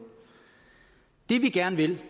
det vi gerne vil